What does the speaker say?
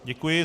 Děkuji.